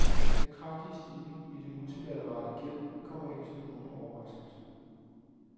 Den kraftige stigning i den multilaterale gæld kommer ikke som nogen overraskelse.